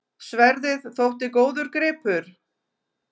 Sverðið þótti góður gripur.